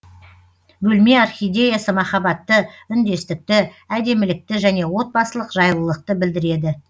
бөлме орхидеясы махаббатты үндестікті әдемілікті және отбасылық жайлылықты білдіреді